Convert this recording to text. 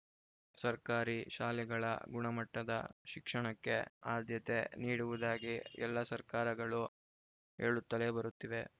ಸರ್ಕಾರಿ ಶಾಲೆಗಳ ಗುಣಮಟ್ಟದ ಶಿಕ್ಷಣಕ್ಕೆ ಆದ್ಯತೆ ನೀಡುವುದಾಗಿ ಎಲ್ಲಾ ಸರ್ಕಾರಗಳು ಹೇಳುತ್ತಲೇ ಬರುತ್ತಿವೆ